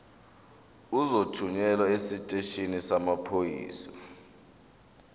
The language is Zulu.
uzothunyelwa esiteshini samaphoyisa